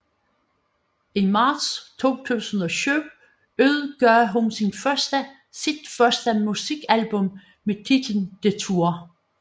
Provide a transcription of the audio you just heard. I marts 2007 udgav hun sit første musikalbum med titlen Detour